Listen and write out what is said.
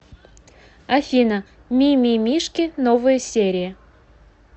афина ми ми мишки новые серии